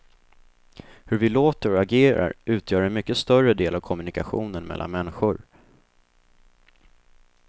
Hur vi låter och agerar utgör en mycket större del av kommunikationen mellan människor.